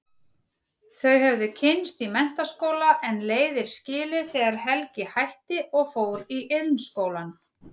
Þau höfðu kynnst í menntaskóla en leiðir skilið þegar Helgi hætti og fór í Iðnskólann.